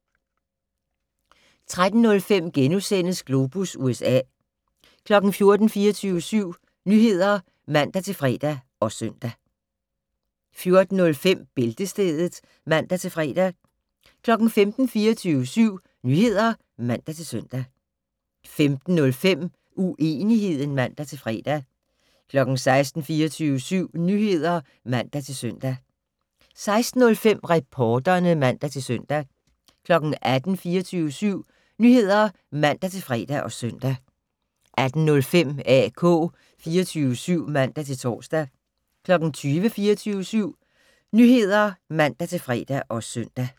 13:05: Globus USA * 14:00: 24syv Nyheder (man-fre og søn) 14:05: Bæltestedet (man-fre) 15:00: 24syv Nyheder (man-søn) 15:05: Uenigheden (man-fre) 16:00: 24syv Nyheder (man-søn) 16:05: Reporterne (man-tor) 18:00: 24syv Nyheder (man-fre og søn) 18:05: AK 24syv (man-tor) 20:00: 24syv Nyheder (man-fre og søn)